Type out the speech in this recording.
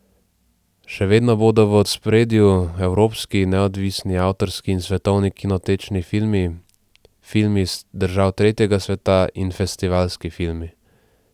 Še vedno bodo v ospredju evropski, neodvisni, avtorski in svetovni kinotečni filmi, filmi iz držav tretjega sveta in festivalski filmi.